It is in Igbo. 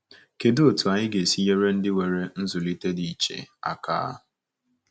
Kedụ otú anyị ga-esi nyere ndị nwere nzụlite dị iche aka?